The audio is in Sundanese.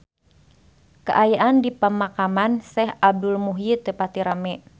Kaayaan di Pemakaman Syekh Abdul Muhyi teu pati rame